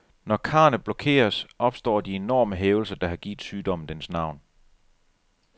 Når karrene blokeres, opstår de enorme hævelser, der har givet sygdommen dens navn.